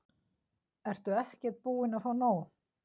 Ertu ekkert búin að fá nóg?